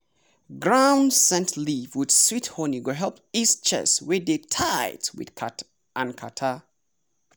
ground scent leaf with sweet honey go help ease chest wey dey tight and catarrh.